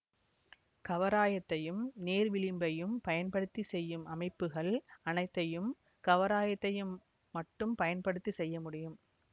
கவராயத்தையும் நேர்விளிம்பையும் பயன்படுத்தி செய்யும் அமைப்புகள் அனைத்தையும் கவராயத்தையும் மட்டும் பயன்படுத்தியும் செய்ய முடியும்